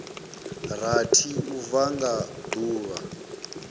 rathi u bva nga duvha